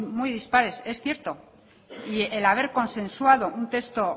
muy dispares es cierto y el haber consensuado un texto